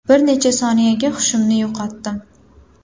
Bir necha soniyaga hushimni yo‘qotdim.